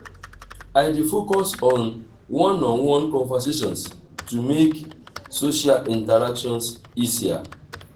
i dey focus on one-on-one conversations to make social interactions easier.